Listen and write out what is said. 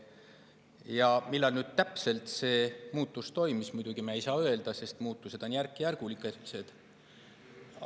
Ja millal nüüd täpselt see muutus toimus, muidugi me ei saa öelda, sest muutused on järkjärgulised.